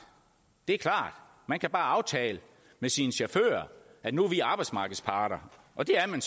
det er klart man kan bare aftale med sine chauffører at nu er vi arbejdsmarkedsparter og det er man